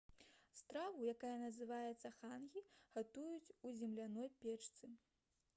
страву якая называецца «хангі» гатуюць у земляной печцы